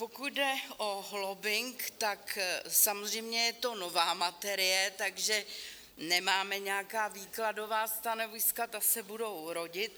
Pokud jde o lobbing, tak samozřejmě je to nová materie, takže nemáme nějaká výkladová stanoviska, ta se budou rodit.